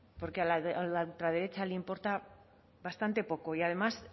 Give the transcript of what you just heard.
porque a la ultraderecha le importa bastante poco y además